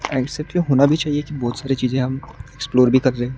ऐसे क्यों होना भी चाहिए कि बहोत सारी चीजें हम एक्सप्लोर भी कर लें।